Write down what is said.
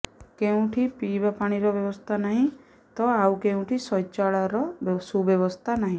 କେଉଁଠି ପିଇବା ପାଣି ର ବ୍ୟବସ୍ଥା ନାହିଁ ତ ଆଉ କେଉଁଠି ଶୌଚାଳୟ ର ସୁବ୍ୟବସ୍ଥା ନାହିଁ